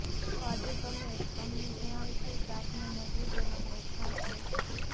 તો આજે અમે તમને જણાવીશું દાંતને મજબૂત બનાવવાનો એક ખાસ પેસ્ટ